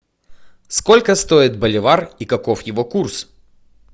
сколько стоит боливар и каков его курс